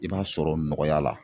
I b'a sɔrɔ nɔgɔya la.